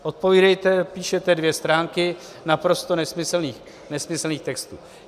Odpovídejte, píšete dvě stránky naprosto nesmyslných textů.